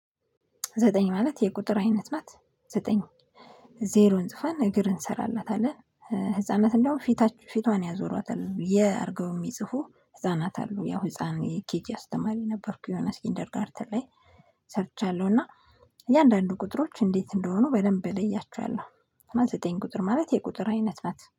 ዘጠኝ ማለት የቁጥር አይነት ናት ዘጠኝ ዜሮን ጽፈን እግር እንሰራላታለን። ህፃናት እንደውም ፊታችሁ ፊቷን ያዞሯታል የ አድርገው የሚጽፉ ህፃናት አሉ ያው ህፃን ኬጂ አስተማሪ ነበርኩ የሆነ እስኪንደርጋርተን ላይ ሰርቻለሁ። እና እያንዳንዱ ቁጥሮች እንዴት እንደሆኑ በደንብ እለያቸዋለሁ። እና ዘጠኝ ቁጥር ማለት የቁጥር አይነት ናት